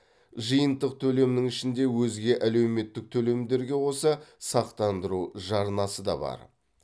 жиынтық төлемнің ішінде өзге әлеуметтік төлемдерге қоса сақтандыру жарнасы да бар